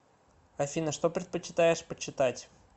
афина что предпочитаешь почитать